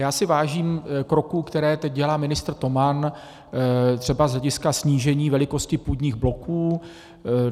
Já si vážím kroků, které teď dělá ministr Toman třeba z hlediska snížení velikosti půdních bloků.